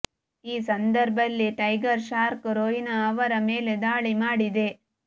ಈ ಸಂದರ್ಭಲ್ಲಿ tiger shark Rohina ಅವರ ಮೇಲೆ ದಾಳಿ ಮಾಡಿದೆ